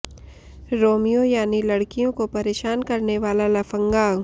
Romeo यानी लड़कियों को परेशान करने वाला लफंगा